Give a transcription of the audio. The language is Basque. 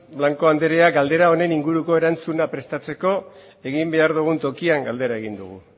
blanco anderea galdera honen inguruko erantzuna prestatzeko egin behar dugun tokian galdera egin dugu